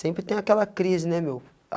Sempre tem aquela crise, né, meu?